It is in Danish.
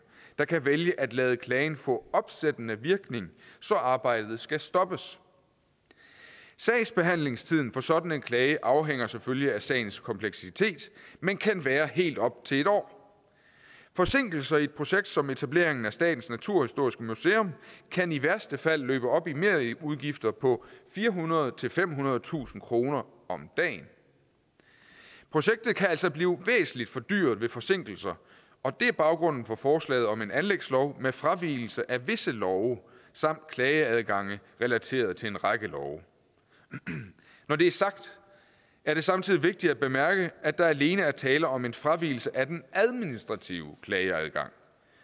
der kan vælge at lade klagen få opsættende virkning så arbejdet skal stoppes sagsbehandlingstiden for sådan en klage afhænger selvfølgelig af sagens kompleksitet men kan være helt op til en år forsinkelser i et projekt som etableringen af statens naturhistoriske museum kan i værste fald løbe op i merudgifter på firehundredetusind femhundredetusind kroner om dagen projektet kan altså blive væsentlig fordyret ved forsinkelser og det er baggrunden for forslaget om en anlægslov med fravigelse af visse love samt klageadgange relateret til en række love når det er sagt er det samtidig vigtigt at bemærke at der alene er tale om en fravigelse af den administrative klageadgang